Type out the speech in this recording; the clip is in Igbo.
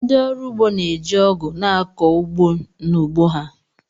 Ndị ọrụ ugbo na-eji Ọgụ na-akọ ugbo n’ugbo ha